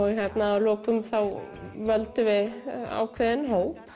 að lokum völdum við ákveðinn hóp